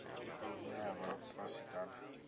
ine ya vha fhasi kana